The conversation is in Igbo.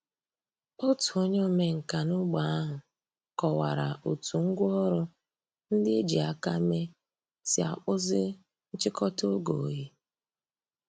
Ọ̀tù ònyè òmènkà n’ógbè àhụ̀ kọ̀wárà ó̩tù ngwá òrụ̀ ńdí è jì àkà mée sì àkpụ̀zì nchị̀kò̩tà ògè òyì.